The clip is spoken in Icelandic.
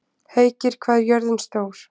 Heikir, hvað er jörðin stór?